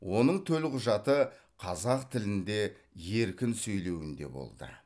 оның төлқұжаты қазақ тілінде еркін сөйлеуінде болды